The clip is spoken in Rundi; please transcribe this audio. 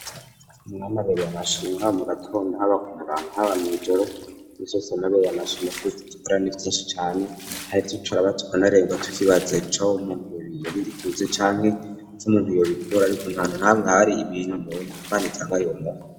mwami ubereye amashimwe haba mu gatondo haba ku murango haba n,joro yesu ubereye amashimwe kuko ivyitugirira ni vyinshi cane kandi turaja turarengwa tukibaza ejo umuntu iyo yobikura canke ntahantu nahamwe hariho ibintu imana itanga itomuha